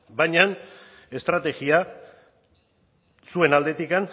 baina estrategia zuen aldetik